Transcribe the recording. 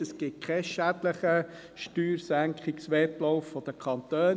Es gibt keinen schädlichen Steuersenkungswettlauf der Kantone.